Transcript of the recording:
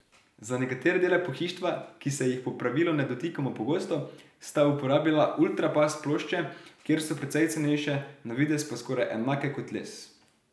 Za nekatere dele pohištva, ki se jih po pravilu ne dotikamo pogosto, sta uporabila ultrapas plošče, ker so precej cenejše, na videz pa skoraj enake kot les.